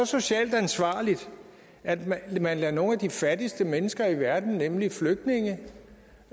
socialt ansvarligt at man man lader nogle af de fattigste mennesker i verden nemlig flygtninge